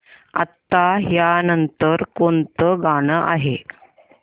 आता या नंतर कोणतं गाणं आहे